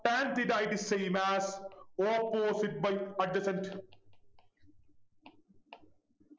Tan theta is same as opposite by adjacent